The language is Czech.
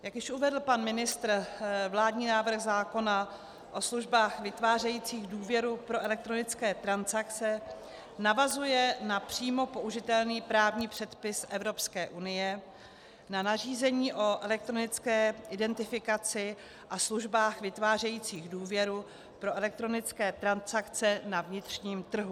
Jak už uvedl pan ministr, vládní návrh zákona o službách vytvářejících důvěru pro elektronické transakce navazuje na přímo použitelný právní předpis Evropské unie, na nařízení o elektronické identifikaci a službách vytvářejících důvěru pro elektronické transakce na vnitřním trhu.